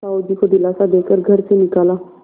साहु जी को दिलासा दे कर घर से निकाला